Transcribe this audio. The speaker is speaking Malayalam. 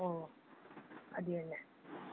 ഓ, അത് തന്നെ.